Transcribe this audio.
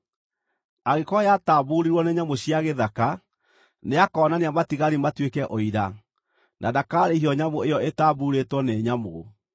Angĩkorwo yatambuurirwo nĩ nyamũ cia gĩthaka, nĩakonania matigari matuĩke ũira, na ndakaarĩhio nyamũ ĩyo ĩtambuurĩtwo nĩ nyamũ.